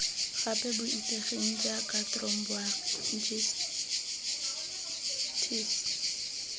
gape bo itsegeng jaaka thromboangitis